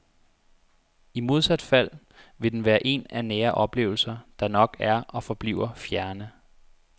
I modsat fald vil den være en af nære oplevelser, der nok er og forbliver fjerne.